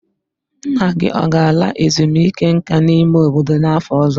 Nna gị ọ ga-ala ezumike nka n'ime obodo n'afọ ọzọ?